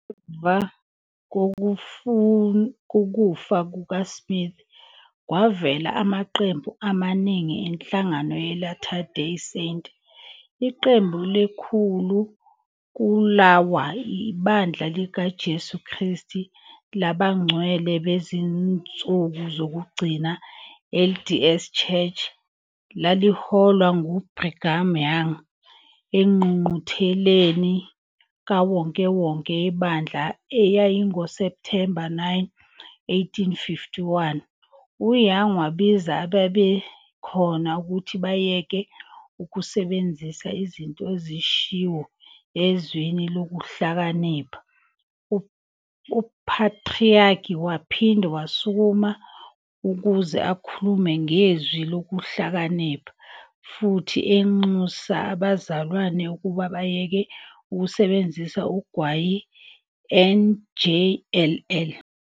Ngemva kokufa kukaSmith, kwavela amaqembu amaningana enhlangano ye-Latter Day Saint. Iqembu elikhulu kulawa, IBandla likaJesu Kristu Labangcwele Bezinsuku Zokugcina, LDS Church, laliholwa nguBrigham Young. Engqungqutheleni kawonkewonke yebandla eyayingoSepthemba 9, 1851, uYoung wabiza ababekhona ukuthi "bayeke ukusebenzisa" izinto ezishiwo eZwini Lokuhlakanipha-UPhatriaki waphinde wasukuma ukuze akhulume ngeZwi Lokuhlakanipha, futhi enxusa abazalwane ukuba bayeke ukusebenzisa ugwayi, njll.